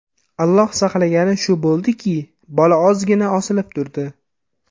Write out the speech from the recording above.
Alloh saqlagani shu bo‘ldiki, bola ozgina osilib turdi.